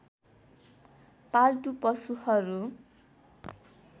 पाल्तु पशुहरू